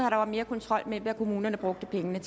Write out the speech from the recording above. at der var mere kontrol med hvad kommunerne brugte pengene